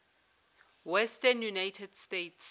western united states